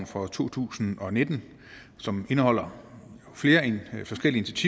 for to tusind og nitten som indeholder flere forskellige